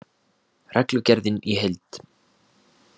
Reglugerðin í heild